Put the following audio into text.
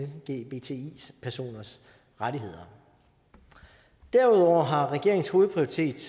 lgbti personers rettigheder derudover har regeringens hovedprioritet